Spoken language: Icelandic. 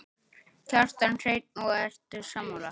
Kjartan Hreinn: Og ertu sammála?